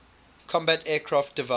combat aircraft divide